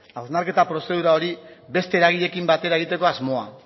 hausnarketa prozedura hori beste eragileekin batera egiteko asmoa